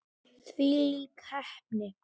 Þvílík heppni!